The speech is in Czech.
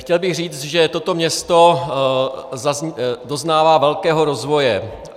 Chtěl bych říct, že toto město doznává velkého rozvoje.